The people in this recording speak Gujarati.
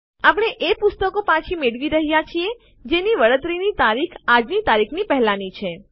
આપણે એ પુસ્તકો પાછી મેળવી રહ્યાં છીએ જેની વળતરની તારીખ આજની તારીખ પહેલાની છે